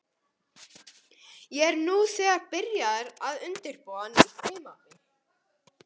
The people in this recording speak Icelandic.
Ég er nú þegar byrjaður að undirbúa nýtt tímabil.